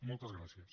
moltes gràcies